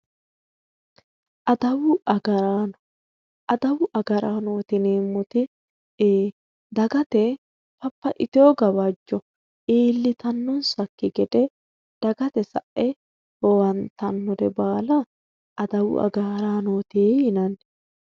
Adawu agaraano adawu agaraanooti yineemmoti dagate babbaxiteewo gawaajjo iillitannonsakki gede dagate sae owantannore baala adawu agaraanooti yinanni